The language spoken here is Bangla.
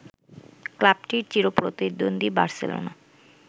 ক্লাবটির চিরপ্রতিদ্বন্দ্বী বার্সেলোনা